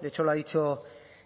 de hecho lo ha dicho